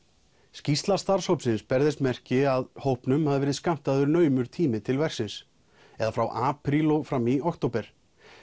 skýrsla starfshópsins ber þess merki að honum hafi verið skammtaður naumur tími til verksins eða frá apríl og fram í október